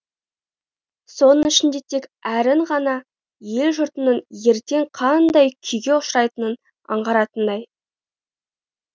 соның ішінде тек әрін ғана ел жұртының ертең қандай күйге ұшырайтынын аңғаратындай